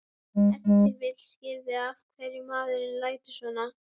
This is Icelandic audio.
Ef til vill skýrir það af hverju maðurinn lætur svona.